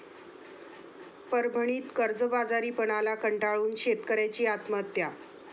परभणीत कर्जबाजारीपणाला कंटाळून शेतकऱयाची आत्महत्या